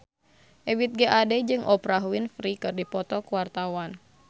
Ebith G. Ade jeung Oprah Winfrey keur dipoto ku wartawan